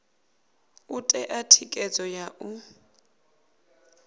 u ṋea thikhedzo ya u